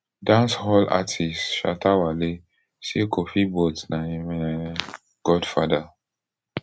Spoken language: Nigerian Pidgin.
dancehall artiste shatta wale say kofi boat na im um godfather